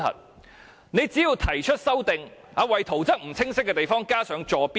政府只要提出修正案，為圖則裏不清晰的地方加上坐標即可。